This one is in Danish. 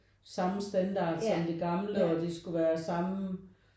Samme standard som det gamle og det skulle være samme